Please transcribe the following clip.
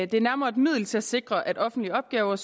det er nærmere et middel til at sikre at offentlige opgaver